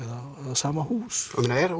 sama hús